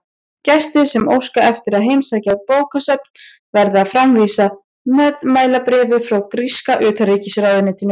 Gestir sem óska eftir að heimsækja bókasöfnin verða að framvísa meðmælabréfi frá gríska utanríkisráðuneytinu.